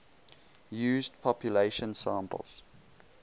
used population samples